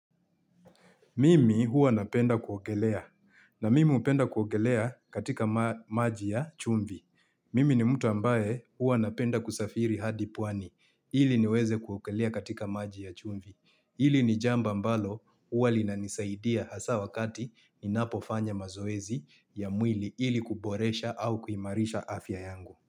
Mimi huwa napenda kuogelea na mimi hupenda kuogelea katika maji ya chumvi. Mimi ni mtu ambaye huwa napenda kusafiri hadi pwani ili niweze kuogelea katika maji ya chumvi. Hili ni jambo mbalo huwa linanisaidia hasa wakati ninapo fanya mazoezi ya mwili ili kuboresha au kuimarisha afya yangu.